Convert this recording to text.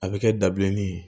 A bɛ kɛ dabileni ye